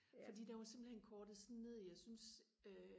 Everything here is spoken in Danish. fordi den var simpelthen kortet sådan ned jeg syntes øh